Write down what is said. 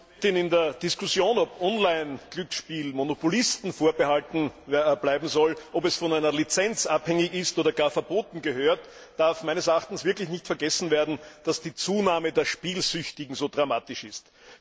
Frau Präsidentin! In der Diskussion, ob Online Glücksspiel Monopolisten vorbehalten bleiben soll, ob es von einer Lizenz abhängig ist oder gar verboten gehört, darf meines Erachtens nicht vergessen werden, dass die Zunahme der Spielsüchtigen so dramatisch ist.